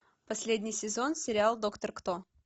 последний сезон сериал доктор кто